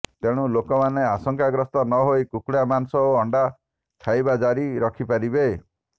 ତେଣୁ ଲୋକମାନେ ଆଶଙ୍କାଗ୍ରସ୍ତ ନହୋଇ କୁକୁଡ଼ା ମାଂସ ଓ ଅଣ୍ଡା ଖାଇବା ଜାରି ରଖିପାରିବେ